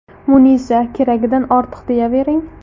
Munisa :– Keragidan ortiq deyavering.